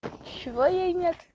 чего ей нет